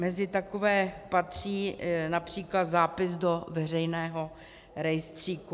Mezi takové patří například zápis do veřejného rejstříku.